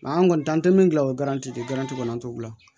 an kɔni t'an tɛ min gilan o de kɛra kɔni an t'o bila